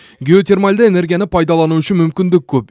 геотермальды энергияны пайдалану үшін мүмкіндік көп